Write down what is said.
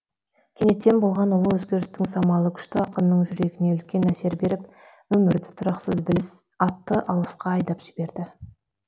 кенеттен болған ұлы өзгерістің самалы күшті ақынның жүрегіне үлкен әсер беріп өмірді тұрақсыз біліс атты алысқа айдап жіберді